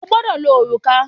O gbọ́dọ̀ lo òrùka!